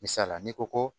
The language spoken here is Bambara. Misalila n'i ko ko